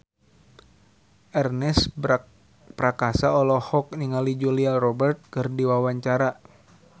Ernest Prakasa olohok ningali Julia Robert keur diwawancara